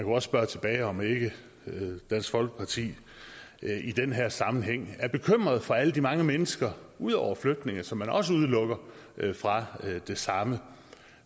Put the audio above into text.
også spørge tilbage om ikke dansk folkeparti i den her sammenhæng er bekymret for alle de mange mennesker ud over flygtninge som man også udelukker fra det samme